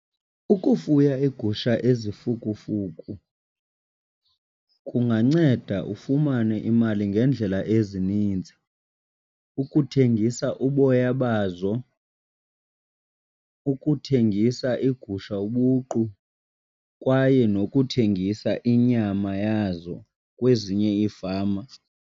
Ukufuya iigusha ezifukufuku kunganceda ufumane imali ngeendlela ezininzi. Ukuthengisa uboya bazo, ukuthengisa igusha ubuqu kwaye nokuthengisa inyama yazo kwezinye iifama.